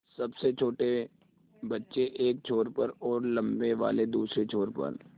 सबसे छोटे बच्चे एक छोर पर और लम्बे वाले दूसरे छोर पर